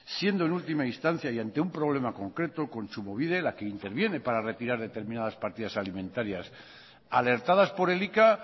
siendo en última instancia y ante un problema concreto kontsumobide la que interviene para retirar determinadas partidas alimentarias alertadas por elika